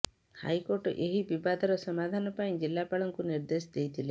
high court ଏହି ବିବାଦର ସମାଧାନ ପାଇଁ ଜିଲାପାଳଙ୍କୁ ନିର୍ଦ୍ଦେଶ ଦେଇଥିଲେ